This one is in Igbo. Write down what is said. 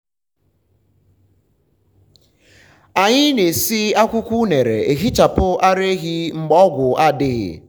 anyị na-esi akwụkwọ unere ehichapụ ara ehi mgbe ọgwụ adịghị.